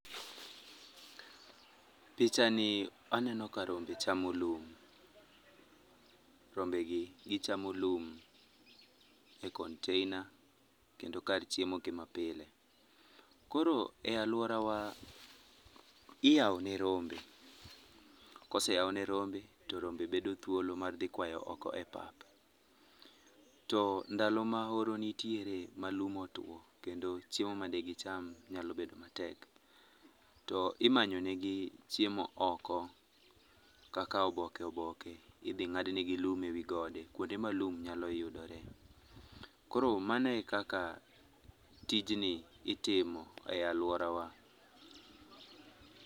Pichani aneno ka rombe chamo lum, rombe gi gicham lum e container kendo kar chiemo gi mapile. Koro e aluora wa iyao ne rombe ,koseyao ne rombe to rombe bedo thuolo mar dhi kwayo oko e pap. To ndalo ma oro nitiere ma lum otuo kendo chiemo made gicham nyalo bedo matek to imanyo negi chiemo oko kaka oboke oboke idhi ngad negi lum ewi gode, kuonde ma lum nyalo yudore. Koro mano e kaka tijni itimo e aluora wa